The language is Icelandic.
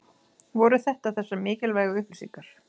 Voru þetta þessar mikilvægu upplýsingar?